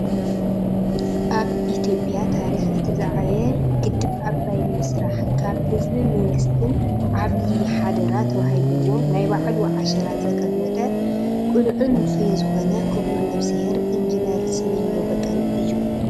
ኣብ ኢትዮጵያ ታሪኽ እቲ ዝዓበየ ግድብ ኣባይ ንምስራሕ ካብ ህዝብን መንግስትን ዓብይ ሓደራ ተዋሂብዎ ናይ ባዕሉ ዓሸራ ዘቐመጠ ቅኑዕን ውፍይን ዝኾነ ክቡር ነብስሄር ኢንጅነር ስመኘው በቀለ እዩ።